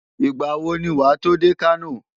Ìgbà wo ni wàá tó dé Kano?